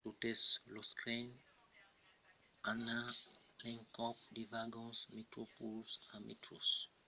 totes los trens an a l’encòp de vagons metroplus e metro; los vagons metroplus son totjorn a la fin del tren la mai pròcha de la vila del cap